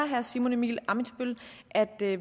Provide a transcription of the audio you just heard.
herre simon emil ammitzbøll at det